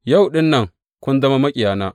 Yau ɗin nan kun zama maƙiyana!